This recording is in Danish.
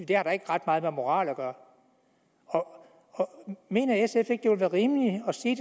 det har da ikke ret meget med moral at gøre mener sf ikke at være rimeligt at sige